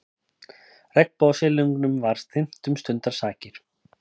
Regnbogasilungnum var þyrmt um stundarsakir.